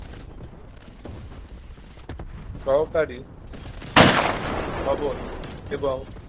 সহকারী ভবন এবং